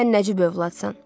Sən nəcib övladsan.